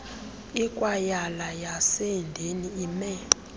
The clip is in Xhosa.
ikwayala yaseedeni ime